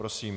Prosím.